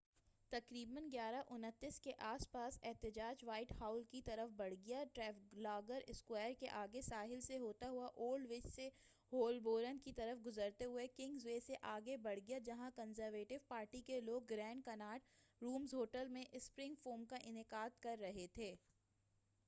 تقریبا 11:29 کے آس پاس احتجاج وائٹ ہال کی طرف بڑھ گیا ٹریفالگر اسکوائر کے آگے ساحل سے ہوتا ہوا الڈویچ سے ہولبورن کی طرف گذرتے ہوئے کنگس وے سے آگے بڑھ گیا جہاں کنزرویٹو پارٹی کے لوگ گرینڈ کناٹ رومز ہوٹل میں اسپرنگ فورم کا انعقاد کر رہے تھے